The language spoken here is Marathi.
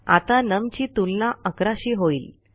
आता नम ची तुलना11 शी होईल